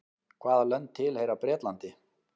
hvaða lönd tilheyra bretlandi